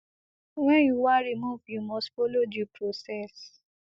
wen you wan remove you must follow due process